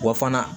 Wa fana